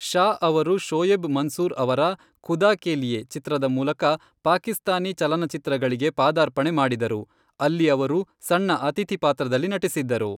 ಶಾ ಅವರು ಶೋಯೆಬ್ ಮನ್ಸೂರ್ ಅವರ ಖುದಾ ಕೆ ಲಿಯೆ ಚಿತ್ರದ ಮೂಲಕ ಪಾಕಿಸ್ತಾನಿ ಚಲನಚಿತ್ರಗಳಿಗೆ ಪಾದಾರ್ಪಣೆ ಮಾಡಿದರು, ಅಲ್ಲಿ ಅವರು ಸಣ್ಣ ಅತಿಥಿ ಪಾತ್ರದಲ್ಲಿ ನಟಿಸಿದ್ದರು.